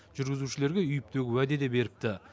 жүргізушілерге үйіп төгіп уәде де беріпті